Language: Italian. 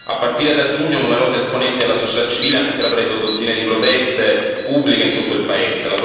A partire da giugno numerosi esponenti della società civile hanno intrapreso dozzine di proteste pubbliche in tutto il paese.